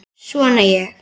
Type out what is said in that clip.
Vona ég.